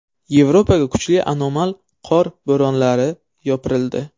Yevropaga kuchli anomal qor bo‘ronlari yopirildi.